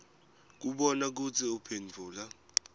kubona kutsi uphendvula